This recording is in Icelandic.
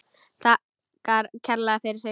Þakkar kærlega fyrir sig.